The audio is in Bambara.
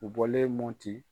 U bɔlen Mɔti.